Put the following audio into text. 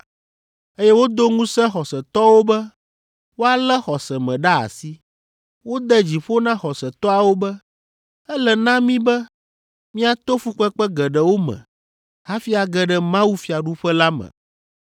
eye wodo ŋusẽ xɔsetɔwo be woalé xɔse me ɖe asi. Wode dzi ƒo na xɔsetɔawo be, “Ele na mí be míato fukpekpe geɖewo me hafi age ɖe mawufiaɖuƒe la me.”